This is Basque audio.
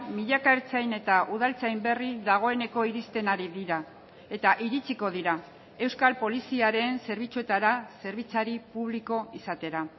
milaka ertzain eta udaltzain berri dagoeneko iristen ari dira eta iritsiko dira euskal poliziaren zerbitzuetara zerbitzari publiko izatera